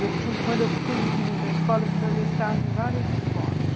E eu fui, quando eu pus os meninos na escola, eu fui fazer estágio em várias escolas.